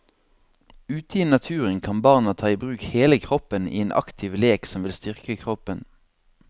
Ute i naturen kan barna ta i bruk hele kroppen i en aktiv lek som vil styrke kroppen.